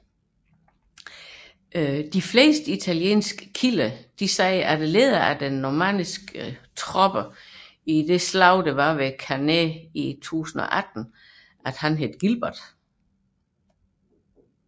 De fleste italienske kilder omtaler lederen af de normanniske tropper i slaget ved Cannae i 1018 som Gilbert